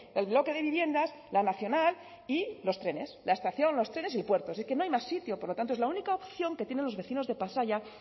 el bloque de viviendas la nacional y los trenes la estación los trenes y el puerto y que es no hay más sitio por lo tanto es la única opción que tienen los vecinos de pasaia